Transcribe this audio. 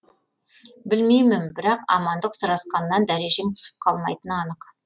білмеймін бірақ амандық сұрасқаннан дәрежең түсіп қалмайтыны анық